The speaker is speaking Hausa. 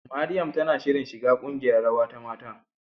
Mariam tana shirin shiga ƙungiyar rawa ta mata.